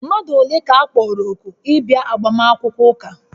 Mmadụ ole ka a kpọrọ òkù ịbịa agbamakwụkwọ ụka?